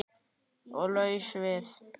Og laus við